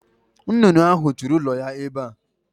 Nnụnụ ahụ tụrụ ụlọ ya ebe a.